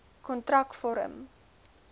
kontrakvorm